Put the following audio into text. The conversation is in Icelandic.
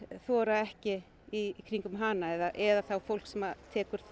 þora ekki í kringum hana eða fólk sem tekur